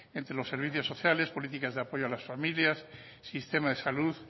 entre los servicios sociales políticas de apoyo a las familias sistema de salud